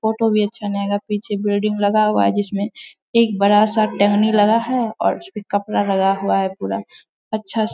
Photo भी अच्छा नहीं आएगा। पीछे बिल्डिंग लगा हुआ है । जिसमें एक बड़ा-सा टंगनी लगा है और उसमें कपड़ा लगा हुआ है। पूरा अच्छा से --